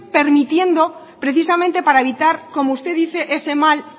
permitiendo precisamente para evitar como usted dice ese mal